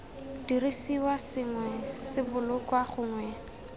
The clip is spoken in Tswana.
dirisiwa sengwe se bolokwa gongwe